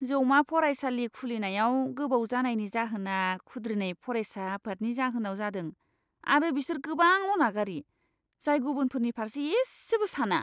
जौमा फरायसालि खुलिनायाव गोबाव जानायनि जाहोना खुद्रिनाय फरायसा आफादनि जाहोनाव जादों आरो बिसोर गोबां अनागारि, जाय गुबुनफोरनि फारसे इसेबो साना।